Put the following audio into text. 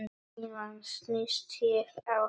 Síðan snýst ég á hæli.